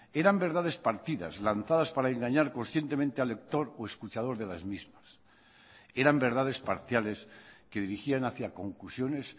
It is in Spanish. eran verdades partidas lanzadas para engañar conscientemente al lector o escuchador de las mismas eran verdades parciales que dirigían hacia conclusiones